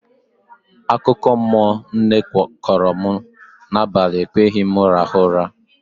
Akụkọmmụọ nne kọọrọ m n'abalị ekweghị m rahụ ụra